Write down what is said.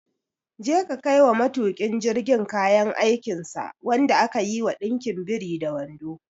Je ka kaiwa matuƙin jirgin kayan aikinsa wanda aka yi wa ɗinkin biri da wando!